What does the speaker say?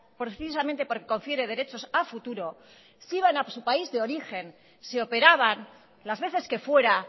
precisamente porque confiere derechos a futuro se iban a su país de origen se operaban las veces que fuera